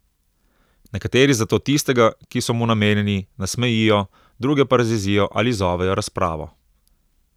Nekateri zato tistega, ki so mu namenjeni, nasmejijo, druge pa razjezijo ali izzovejo razpravo.